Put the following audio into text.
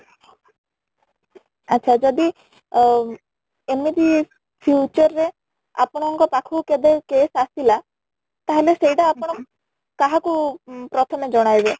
ଆଚ୍ଛା ଯଦି ଅ ଏମିତି future ରେ ଆପଣ ଙ୍କ ପାଖକୁ କେବେ case ଆସିଲା ତାହେଲେ ସେଇଟା ଆପଣ କାହାକୁ ପ୍ରଥମେ ଜଣାଇବେ ?